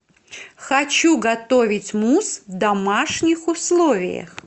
хочу готовить мусс в домашних условиях